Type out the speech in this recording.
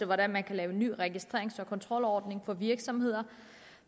hvordan man kan lave nye registrerings og kontrolordninger for virksomheder